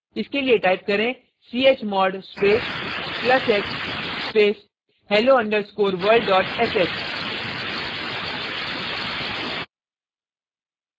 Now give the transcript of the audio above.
इसके लिए type करें chmod space plus x space hello underscore world dot sh